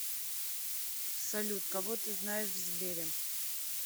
салют кого ты знаешь в сбере